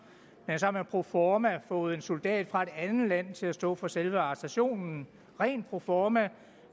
men så har man proforma fået en soldat fra et andet land til at stå for selve arrestationen rent proforma